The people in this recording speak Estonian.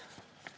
Aeg on …